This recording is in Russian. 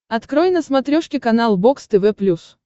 открой на смотрешке канал бокс тв плюс